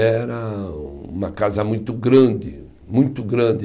Era uma casa muito grande, muito grande.